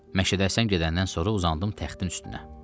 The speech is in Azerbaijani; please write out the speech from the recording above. Məşədə Həsən gedəndən sonra uzandım taxtın üstünə.